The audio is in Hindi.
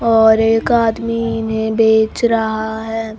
और एक आदमी इन्हे बेच रहा है।